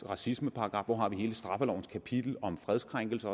racismeparagraffen hvor har vi hele straffelovens kapitel om fredskrænkelse